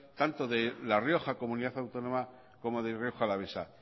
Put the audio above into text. tanto de la rioja comunidad autónoma como de rioja alavesa